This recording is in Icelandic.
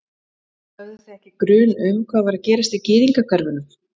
Höfðuð þið ekki grun um hvað var að gerast í gyðingahverfunum?